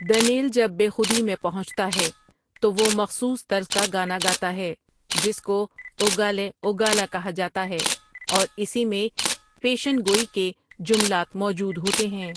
دن٘یل جب بے خودی میں پہنچتا ہے تو وہ مخصوص طرز کا گانا گاتا ہے جس کو اوگالِہ اَۆڱاٗلِہ کہا جاتا ہے اور اسی میں پیشنگوئی کے جملات موجود ہوتے ہیں۔